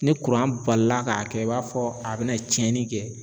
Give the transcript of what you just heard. Ni balila k'a kɛ i b'a fɔ a bɛna tiɲɛni kɛ